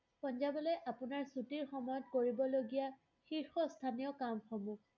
পঞ্জাৱলৈ আপোনাৰ ছুটীৰ সময়ত কৰিবলগীয়া শীৰ্ষস্থানীয় কামসমূহ